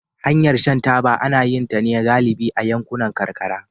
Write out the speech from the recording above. Hanyar shan taba ana yin ta ne galibi a yankunan karkara